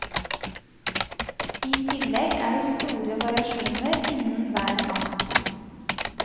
I tillegg er det store variasjoner innen hvert amt.